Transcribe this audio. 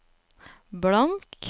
blank